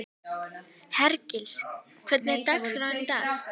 Hergils, hvernig er dagskráin í dag?